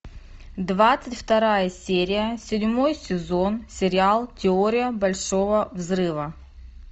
двадцать вторая серия седьмой сезон сериал теория большого взрыва